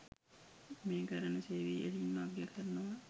මේ කරන සේවය ඉහලින්ම අගය කරනවා.